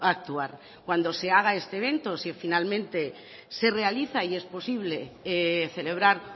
actuar cuando se haga este evento si finalmente se realiza y es posible celebrar